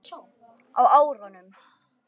Á árunum